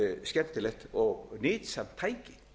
skemmtilegt og nytsamt tæki